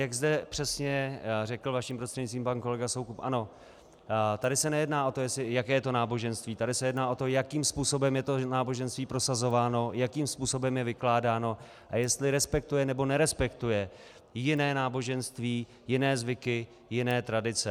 Jak zde přesně řekl vaším prostřednictvím pan kolega Soukup, ano, tady se nejedná o to, jaké to je náboženství, tady se jedná o to, jakým způsobem je to náboženství prosazováno, jakým způsobem je vykládáno a jestli respektuje nebo nerespektuje jiné náboženství, jiné zvyky, jiné tradice.